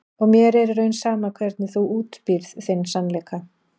Og mér er í raun sama hvernig þú útbýrð þinn sannleika.